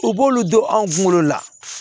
U b'olu don anw kunkolo la